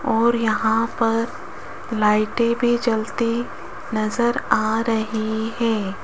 और यहां पर लाइटें भी जलती नजर आ रही हैं।